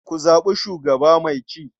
Ku zaɓi shugaba mai ci.